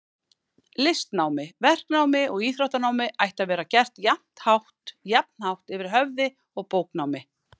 Listnámi, verknámi og íþróttanámi ætti að vera gert jafn hátt yfir höfði og bóknámi.